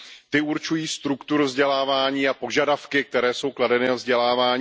Ty určují strukturu vzdělávání a požadavky, které jsou kladeny na vzdělávání.